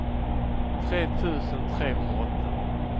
tre tusen trehundraåtta